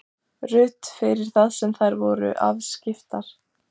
Ruth fyrir það hvað þær voru afskiptar.